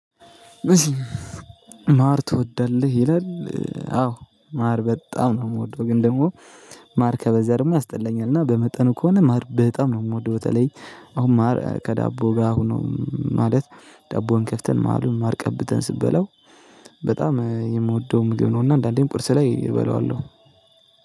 ማር ትወዳለህ ይላል? አዎ ማር በጣም ነው የምወደው ግን ደግሞ ማር ከበዛ ደግሞ ያስጠላኛል እና በመጠኑ ከሆነ ማር በጣም ነው የምወደው። በተለይ አሁን ማር ከዳቦ ጋር ሆኖ ማለት ዳቦውን ከፍተን ማር ቀብተን ስበላው በጣም የምወደው ምግብ ነው። እና አንዳንዴም ቅርስ ላይ እበለዋለሁ።